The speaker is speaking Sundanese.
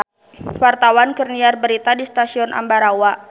Wartawan keur nyiar berita di Stasiun Ambarawa